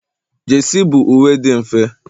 jesi bụ uwe dị mfe